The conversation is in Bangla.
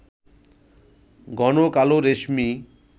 ঘন কালো রেশমি